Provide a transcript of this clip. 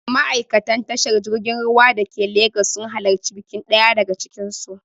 Ma'aikatan tashar jirgin ruwa dake Legas sun halarci bikin ɗaya daga cikin su.